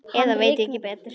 Eða ég veit ekki betur.